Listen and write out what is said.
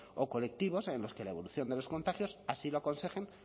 o colectivos en los que la evolución de los contagios así lo aconsejen